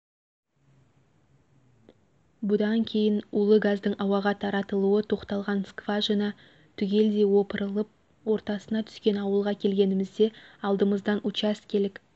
бұдан кейін улы газдың ауаға таратылуы тоқталған скважина түгелдей опырылып ортасына түскен ауылға келгенімізде алдымыздан учаскелік